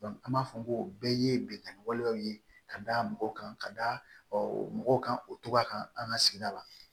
an b'a fɔ ko o bɛɛ ye binnkanni walew ye ka da mɔgɔw kan ka da o mɔgɔw kan o togoya kan an ka sigida la